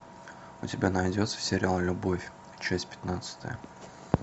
у тебя найдется сериал любовь часть пятнадцатая